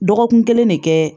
Dɔgɔkun kelen ne kɛ